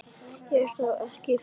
Er það ekki fyndið?